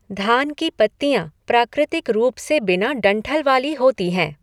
धान की पत्तियाँ प्राकृतिक रूप से बिना डंठल वाली होती हैं।